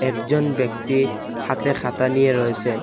একজন ব্যক্তি হাতে খাতা নিয়ে রয়েসেন।